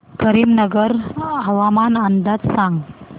करीमनगर हवामान अंदाज सांग